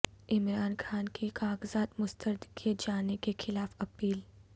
عمران خان کی کاغذات مسترد کئے جانے کیخلاف اپیل